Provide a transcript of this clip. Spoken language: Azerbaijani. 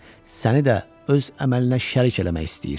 Səni də öz əməlinə şərik eləmək istəyir.